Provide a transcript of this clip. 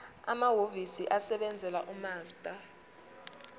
amahhovisi asebenzela umaster